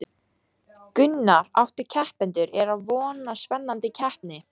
Gunnar: Átta keppendur, er vona á spennandi keppni?